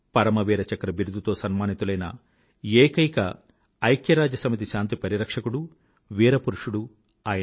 పరమవీర చక్ర బిరుదుతో సన్మానితులైన ఏకైన ఐక్యరాజ్యసమితి శాంతి పరిరక్షకుడు వీర పురుషుడు ఆయన